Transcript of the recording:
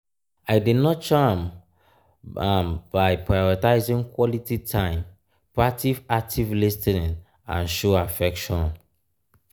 i dey nurture am am by prioritizing quality time practice active lis ten ing and show affection.